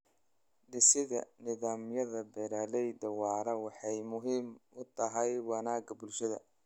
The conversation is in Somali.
Dhisidda nidaamyada beeralayda waara waxay muhiim u tahay wanaagga bulshada.